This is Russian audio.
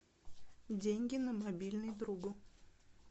деньги на мобильный другу